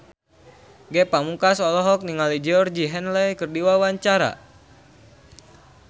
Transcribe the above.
Ge Pamungkas olohok ningali Georgie Henley keur diwawancara